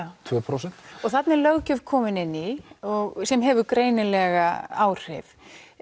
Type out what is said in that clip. tvö prósent þarna er löggjöf kominn inn í sem hefur greinilega áhrif